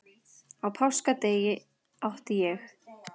Á páskadag átti ég